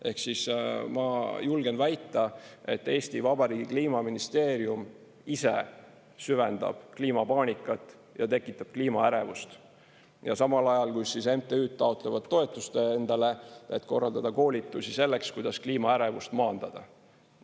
Ehk siis ma julgen väita, et Eesti Vabariigi Kliimaministeerium ise süvendab kliimapaanikat ja tekitab kliimaärevust, samal ajal kui MTÜ-d taotlevad toetust endale, et korraldada koolitusi selleks, kuidas kliimaärevust maandada.